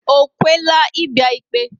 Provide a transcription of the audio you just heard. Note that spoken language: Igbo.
O kwe tela I bia ikpe